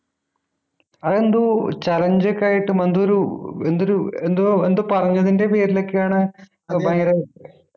അത് എന്തോ challenge ഒക്കെ ആയിട്ടും എന്തോരു എന്തൊരു എന്തോ എന്തോ പറഞ്ഞതിൻ്റെ പേരിലൊക്കെയാണ് ഭയങ്കര